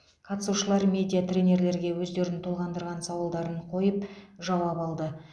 қатысушылар медиа тренерлерге өздерін толғандырған сауалдарын қойып жауап алды